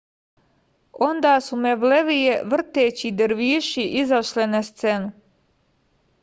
онда су мевлевије вртећи дервиши изашле на сцену